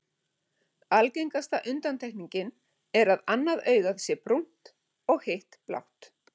Algengasta undantekningin er að annað augað sé brúnt og og hitt blátt.